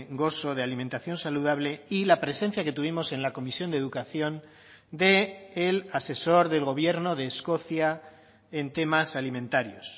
gozo de alimentación saludable y la presencia que tuvimos en la comisión de educación del asesor del gobierno de escocia en temas alimentarios